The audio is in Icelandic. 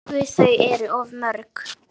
Guð, þau eru of mörg.